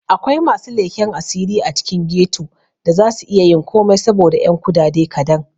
Akwai masu leken asiri a cikin ghetto da za su iyayin komai saboda 'yan kudade kadan.